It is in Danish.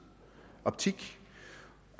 optik